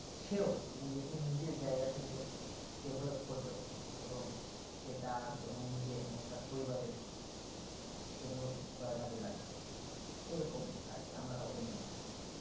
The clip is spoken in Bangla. সেও নিজে কে নিজের জায়গা থেকে develop করবে এবং সেই তার এবং নিজের এবংতার পরিবারের জন্য উপকার কাজে লাগবে এইরকম আর কি আমার opinion তা আর কি